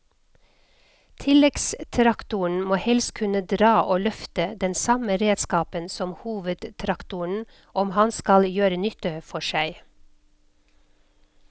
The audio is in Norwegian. Tilleggstraktoren må helst kunne dra og løfte den samme redskapen som hovedtraktoren om han skal gjøre nytte for seg.